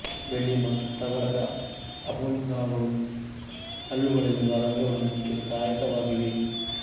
ಬೆಳ್ಳಿ ಮತ್ತು ತವರದ ಅಮಾಲ್ಗಂಗಳು ಹಲ್ಲುಗಳಲ್ಲಿರುವ ರಂಧ್ರಗಳನ್ನು ಮುಚ್ಚಲು ಸಹಾಯಕವಾಗಿವೆ